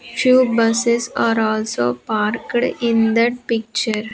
Few buses are also parked in that picture.